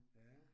Ja